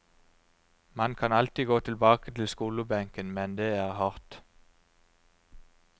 Man kan alltid gå tilbake til skolebenken, men det er hardt.